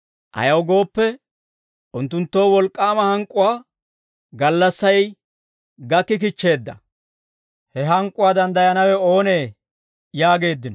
Ayaw gooppe, unttunttoo wolk'k'aama hank'k'uwaa gallassay gakki kichcheedda; he hank'k'uwaa danddayanawe oonee?» yaageeddino.